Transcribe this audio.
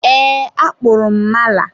eee, akpụrụ m mala.